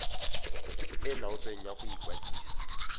e laotsweng ya go ikwadisa